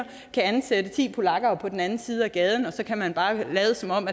kan ansætte ti polakker på den anden side af gaden og så kan man bare lade som om